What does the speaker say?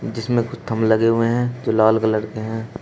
जिसमें कुछ थमले लगे हुए हैं जो लाल कलर के हैं।